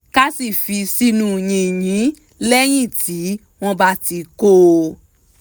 ká sì fi sínú yìnyín lẹ́yìn tí wọ́n bá ti kó o